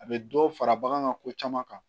A bɛ dɔ fara bagan ko caman kan